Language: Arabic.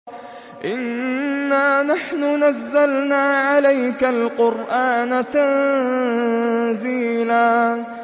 إِنَّا نَحْنُ نَزَّلْنَا عَلَيْكَ الْقُرْآنَ تَنزِيلًا